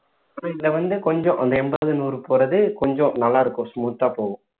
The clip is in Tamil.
இப்ப இதுல வந்து கொஞ்சம் அந்த எண்பது நூறு போறது கொஞ்சம் நல்லா இருக்கும் smooth ஆ போகும்